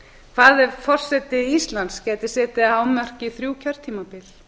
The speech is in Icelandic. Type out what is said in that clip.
hvað er forseta íslands gæti setið að hámarki í þrjú kjörtímabil